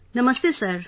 Namastey sir